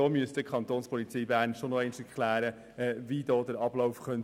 Da muss die Kapo Bern schon noch erklären, wie der Ablauf aussehen könnte.